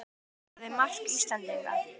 Hver skoraði mark Íslendinga?